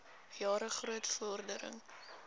jare groot vordering